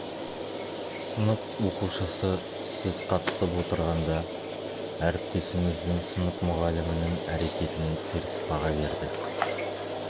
сынып оқушысы сіз қатысып отырғанда әріптесіңіздің сынып мұғалімінің әрекетіне теріс баға берді